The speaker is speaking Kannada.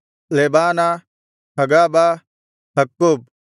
ಲೆಬಾನ ಹಗಾಬ ಅಕ್ಕೂಬ್